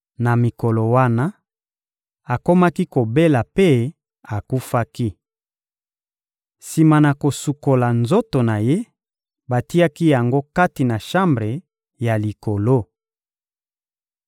Na mikolo wana, akomaki kobela mpe akufaki. Sima na kosukola nzoto na ye, batiaki yango kati na shambre ya likolo.